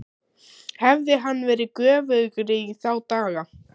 Hafði hann verið göfugri í þá daga?